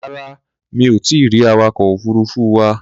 Rárá, mi ò tí ì rí awakọ̀ òfuruufú wa.